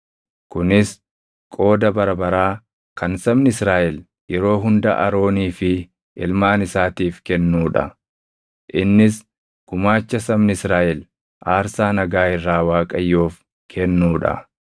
Kunis qooda bara baraa kan sabni Israaʼel yeroo hunda Aroonii fi ilmaan isaatiif kennuu dha. Innis gumaacha sabni Israaʼel aarsaa nagaa irraa Waaqayyoof kennuu dha.